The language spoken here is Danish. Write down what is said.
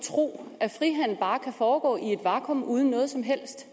tro at frihandel bare kan foregå i et vakuum uden noget som helst